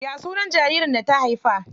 Ya sunan jaririn da ta haifa?